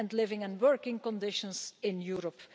and living and working conditions in Europe.